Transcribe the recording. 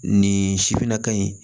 Nin sifinnaka in